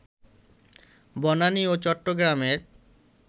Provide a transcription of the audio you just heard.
বনানী ও চট্টগ্রামের